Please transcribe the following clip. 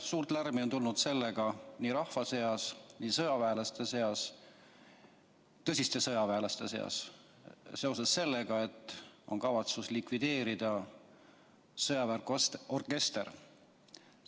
Suurt lärmi on olnud nii rahva seas kui ka sõjaväelaste seas, tõsiste sõjaväelaste seas, seoses sellega, et on kavatsus likvideerida sõjaväeorkester.